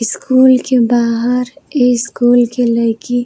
school के बाहर ए के लईकी --